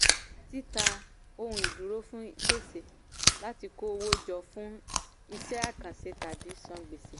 títa ohun ìdúró fún gbèsè láti kó owó jọ fún iṣẹ́ àkànṣe tàbí san gbèsè.